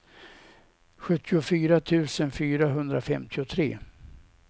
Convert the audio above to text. sjuttiofyra tusen fyrahundrafemtiotre